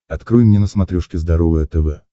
открой мне на смотрешке здоровое тв